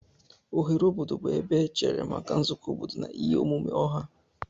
Oghere obodo bụ ebe echere maka nzukọ obodo na ihe omume ọha.